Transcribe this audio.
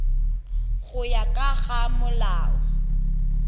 go ya ka ga molao